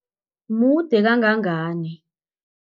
Mude kangangani?